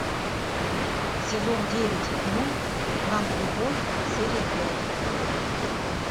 сезон девять мульт нанолюбовь серия пять